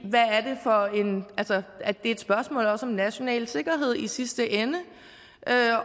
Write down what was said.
er et spørgsmål også om national sikkerhed i sidste ende